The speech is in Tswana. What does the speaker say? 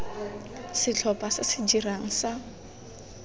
setlhopha se se dirang sa